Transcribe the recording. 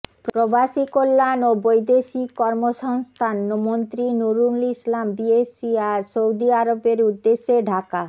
প্রবাসী কল্যাণ ও বৈদেশিক কর্মসংস্থান মন্ত্রী নুরুল ইসলাম বিএসসি আজ সৌদি আরবের উদ্দেশ ঢাকা